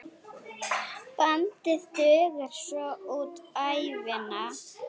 Bandið dugar svo út ævina.